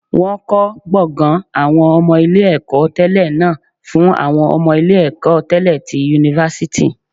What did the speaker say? Wọ́n kọ́ gbọ̀ngàn àwọn ọmọ ilé ẹ̀kọ́ tẹlẹ náà fún àwọn ọmọ ilé ẹ̀kọ́ tẹlẹ ti yunifásítì